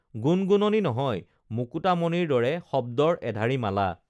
গুণগুণনি নহয় মুকুতা মণিৰ দৰে শব্দৰ এধাৰী মালা